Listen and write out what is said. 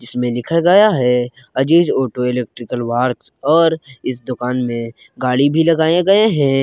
इसमें लिखा गया है अजीज ऑटो इलेक्ट्रिकल वर्क और इस दुकान में गाड़ी भी लगाए गए हैं।